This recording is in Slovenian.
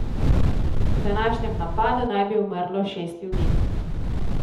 V današnjem napadu naj bi umrlo šest ljudi.